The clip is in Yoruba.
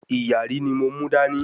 ìyàrí ni mo mú dání